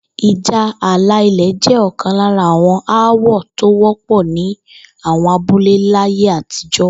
Ìjà alà ilè̩ jé̩ ò̩kan lára àwo̩n aáwò̩ tó wó̩pò̩ ní àwo̩n abúlé láyé àtijó̩